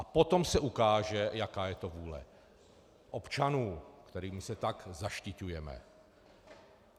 A potom se ukáže, jaká je to vůle občanů, kterými se tak zaštiťujeme.